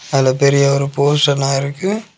அதுல பெரிய ஒரு போஷனா இருக்கு.